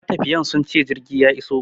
Matafiyan sunce jirgi ya iso